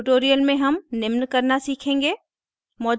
इस tutorial में हम निम्न करना सीखेंगे